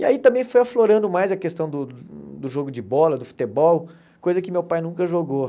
E aí também foi aflorando mais a questão do do jogo de bola, do futebol, coisa que meu pai nunca jogou.